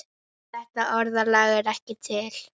Þetta orðalag er ekki til.